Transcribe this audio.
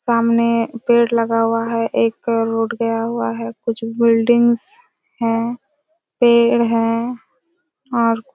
सामने पेड़ लगा हुआ हैं एक रोड गया हुआ हैं कुछ बिल्डिंग्स हैं पेड़ हैं और--